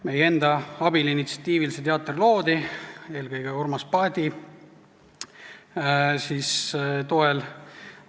Meie enda abil ja initsiatiivil see teater loodi, eelkõige Urmas Paeti toel.